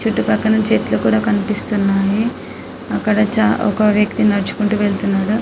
చుట్టూ ప్రక్కల చెట్లు కూడా కనిపిస్తున్నాయి అక్కడ ఒక వ్యక్తి నడుచుకుంటూ వెళ్తున్నాడు .